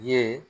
Ye